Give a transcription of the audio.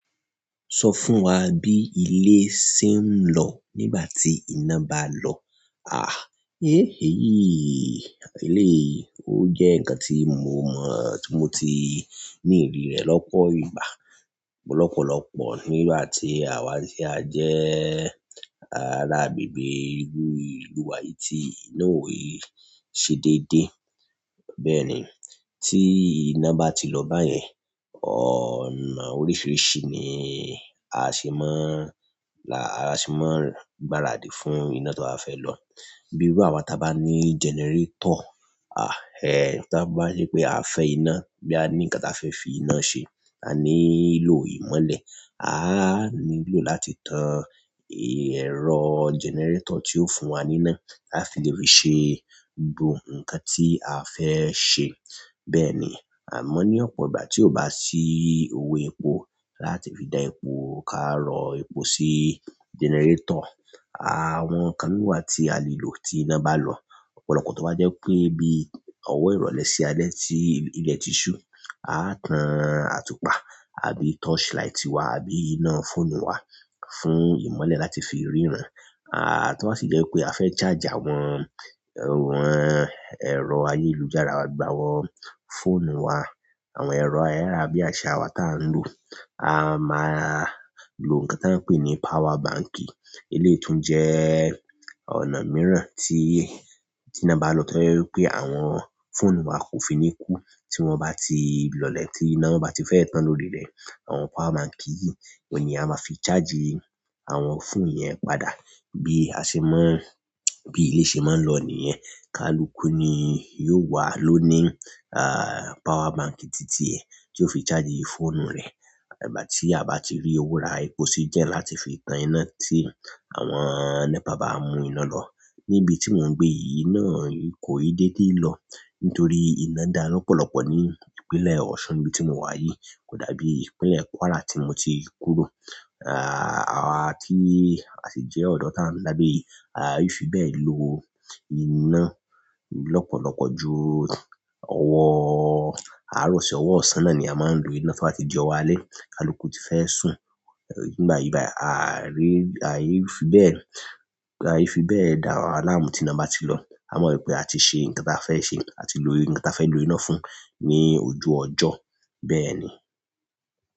Sọ fún wa bí ilé ṣe ń lọ nígbà tí iná bá lọ. Àh, eh! Éyìí, eleyii ó jẹ́ ǹkan tí mo, tí mo ti ní ìrírí rẹ̀ lọ́pọ̀ ìgbà, lọ́pọ̀lọ́pọ̀ nígbà tí àwa tí a jẹ́ ará agbègbè irú ìlú wa yìí tí iná ò i ṣe déédéé. Bẹ́ẹ̀ ni, tí iná bá ti lọ báyẹn, ọ̀nà oríṣiríṣi ni à ṣe máa ń là, à ṣe máa ń gbáradì fún iná tí a fẹ́ lọ. Bíi rú àwa tí a bá ní generator, à, ẹ, tí a bá rí pé a fẹ́ iná, boya a ní ǹkan tí a fẹ́ fi iná ṣe, a ní ìlò ìmọ́lẹ̀, a á nílò láti tan ẹ̀rọ generator tí yóò fún wa ní iná, á fi lè fi ṣe gbogbo ǹkan tí a fẹ́ ṣe. Bẹ́ẹ̀ ni, à mọ ní ọ̀pọ̀ ìgbà tí ó bá sí òwò epo láti fi da epo ká rọ epo sí generator. Àwọn ǹkan mìí wa tí a lè lò tí iná bá lọ, ọ̀pọ̀lọpọ̀ to bá jẹ́ wipé bí ọwọ́ ìrọ̀lẹ́ ṣe alẹ́ tí ilẹ̀ ti ṣú, a á tan àtùpà àbí torchlight wà àbí iná fóònù wà fún ìmọ́lẹ̀ láti fi ríran. Ah, to ba sì jẹ wípé a fẹ charge àwọn, o wọn ẹrọ ayélujára wa, gbo àwọn fóònù wa, àwọn ẹrọ ayarabiasa wa ta n lo, a máa lo nkán tán pe ni powerbank eléyìí tùn jẹ́ ọ̀nà mìíràn tí, tí iná bá lọ, tí jẹ́ wí pé àwọn fóònù wà kò fi ní kú. Tí wọ́n bá ti lọlẹ̀, tí iná bá ti fẹ́ tán lórí rẹ̀, àwọn power bank yìí, ò n ní a máa fi chargi àwọn fóònù yẹn padà. Bí a ṣe máa ń, bí ilé ṣe máa ń lọ nìyẹn. Kaluku ni yóò wà lónìí, à, power bank titi ẹ̀ tí yó fi chargi fóònù rẹ̀. Ìgbà tí a bá ti rí owo rà epo sí gen láti fi tan iná tí àwọn NEPA bá mú iná lọ. Níbi tí mò ń gbé yìí iná à–kò ì déédéé lọ nítorí iná dá lọ́pọ̀lọpọ̀ ní ìpínlẹ̀ Ọ̀ṣun nibi tí mò wa yìí. Kò dàbí ìpínlẹ̀ Kwara tí mo ti kúrò, ah à tí à sì jẹ́ ọ̀dọ̀ tí à ń da gbe yìí, à i fi bẹ́ẹ̀ lo iná lọ́pọ̀lọpọ̀ ju ọwọ́, àárọ̀ si ọwọ́ ọ̀sán náà ni a máa ń lo iná tí o bá ti di ọwọ alẹ́, kaluku ti fẹ́ sùn. Nígbà yìí bái, à ri, à i fi bẹ́ẹ̀, à i fi bẹ́ẹ̀ dá ara wa láàmú tí iná bá ti lọ. A mọ wípé àti ṣe ǹkan tí a fẹ́ ṣe àti lo nkan tí a fẹ́ lo iná fún ní ojú ọjọ́. Bẹ́ẹ̀ ni.